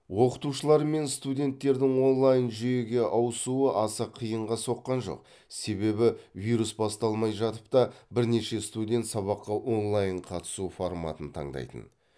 оқытушылар мен студенттердің онлайн жүйеге ауысуы аса қиынға соққан жоқ себебі вирус басталмай жатып та бірнеше студент сабаққа онлайн қатысу форматын таңдайтын